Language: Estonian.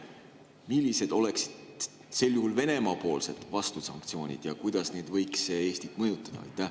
Millised oleksid sel juhul Venemaa vastusanktsioonid ja kuidas need võiksid Eestit mõjutada?